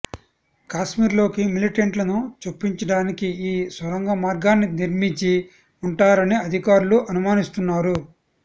కాశ్మీర్లోకి మిలిటెంట్లను చొప్పించడానికి ఈ సొరంగ మార్గాన్ని నిర్మించి ఉంటారని అధికారులు అనుమానిస్తున్నారు